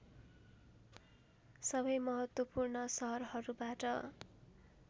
सबै महत्त्वपूर्ण सहरहरूबाट